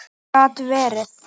Gat verið!